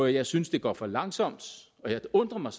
jeg synes det går for langsomt og jeg undrer mig